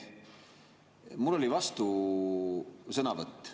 Mul oli vastusõnavõtt.